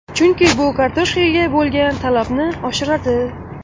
Chunki bu kartoshkaga bo‘lgan talabni oshiradi.